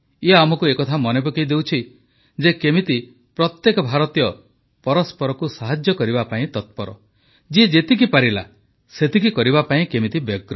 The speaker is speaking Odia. ଇଏ ଆମକୁ ଏକଥା ମନେପକାଇ ଦେଉଛି ଯେ କେମିତି ପ୍ରତ୍ୟେକ ଭାରତୀୟ ପରସ୍ପରକୁ ସାହାଯ୍ୟ କରିବା ପାଇଁ ତତ୍ପର ଯିଏ ଯେତିକି ପାରିଲା ସେତିକି କରିବା ପାଇଁ ବ୍ୟଗ୍ର